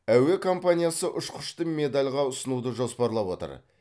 әуе компаниясы ұшқышты медальға ұсынуды жоспарлап отыр